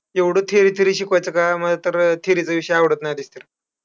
एवढं theory theory शिकवायचं काय मग. तर theory चे विषय आवडत नाहीत एक तर.